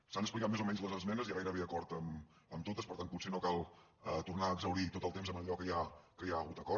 s’han explicat més o menys les esmenes hi ha gairebé acord en totes per tant potser no cal tornar a exhaurir tot el temps amb allò que hi ha hagut acord